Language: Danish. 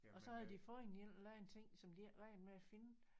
Og så havde de fundet en eller anden ting som de ikke regnede med at finde